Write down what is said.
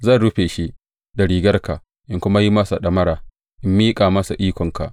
Zan rufe shi da rigarka in kuma yi masa ɗamara in miƙa masa ikonka.